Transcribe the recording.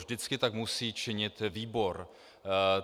Vždycky tak musí činit výbor.